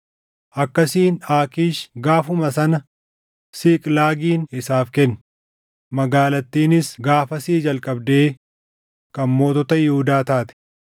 Akkasiin Aakiish gaafuma sana Siiqlaagin isaaf kenne; magaalattiinis gaafasii jalqabdee kan mootota Yihuudaa taate.